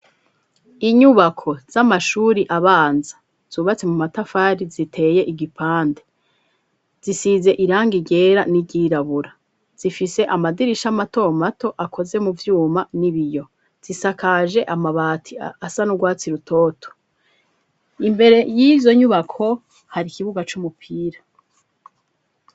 Inyubako z'amashuri abanza zubatse mu matafari ziteye igipande, zisize irangi ryera n'iryirabura, zifise amadirisha mato mato akoze mu vyuma n'ibiyo, zisakaje amabati asa n'urwatsi rutoto, imbere y'izo nyubako hari ikibuga c'umupira.